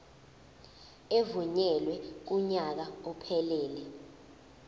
evunyelwe kunyaka ophelele